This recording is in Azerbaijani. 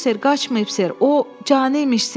Yox ser qaçmayıb ser, o canıymış ser.